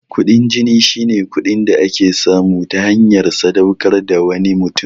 Kuɗin jini shine kuɗin da ake samu ta hanyar sadaukar da wani mutum.